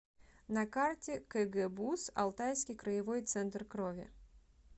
на карте кгбуз алтайский краевой центр крови